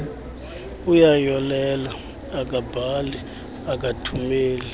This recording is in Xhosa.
uyayolela akabhali akathumeli